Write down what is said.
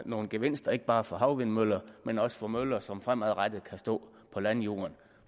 nogle gevinster ikke bare for havvindmøller men også for møller som fremadrettet kan stå på landjorden